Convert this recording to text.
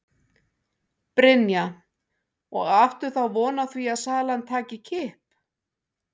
Brynja: Og áttu þá von á því að salan taki kipp?